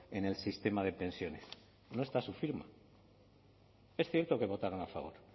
en el sistema de pensiones no está su firma es cierto que votaron a favor